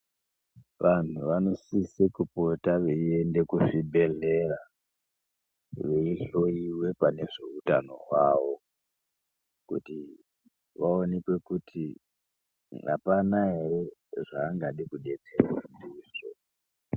Vantu vanosise kupota veyienda kuzvibhedhlera, veyihloyiwe pane zveutano hwavo, kuti vaonekwe kuti apana ere zvavangada kudetserwa ndizvo.